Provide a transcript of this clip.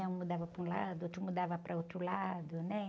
né? Um mudava para um lado, outro mudava para outro lado, né?